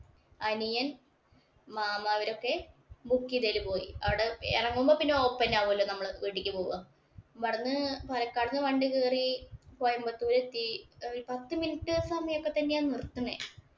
അനിയന്‍, മാമ അവരൊക്കെ book ചെയ്തേല് പോയി. അവടെ എറങ്ങുമ്പോ പിന്നെ ഓപ്പന്നെവുലോ നമ്മള് വീട്ടീക്ക് പോവുക. ഇവ്ട്ന്ന്‍ പാലക്കട്ടേക്ക് വണ്ടി കയറി കോയമ്പത്തൂര് എത്തി. പത്ത് minute സമയമൊക്കെ തന്നെയാ നിര്‍ത്തുന്നേ.